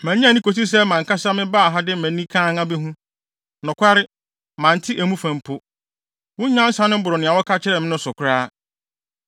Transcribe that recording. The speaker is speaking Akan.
Mannye anni kosii sɛ mʼankasa mebaa ha de mʼani kann abehu. Nokware, mante emu fa mpo. Wo nyansa no boro nea wɔka kyerɛɛ me no so koraa.